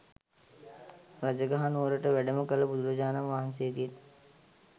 රජගහ නුවරට වැඩම කළ බුදුරජාණන් වහන්සේගෙන්